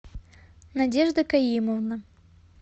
надежда каимовна